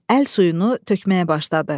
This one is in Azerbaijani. Əl suyunu tökməyə başladı.